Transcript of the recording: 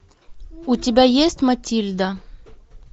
у тебя есть матильда